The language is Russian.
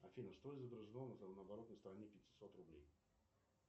афина что изображено на оборотной стороне пятисот рублей